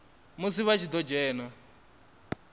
musi vha tshi ḓo dzhena